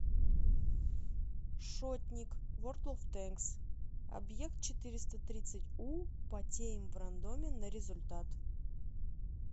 шотник ворлд оф танкс объект четыреста тридцать у потеем в рандоме на результат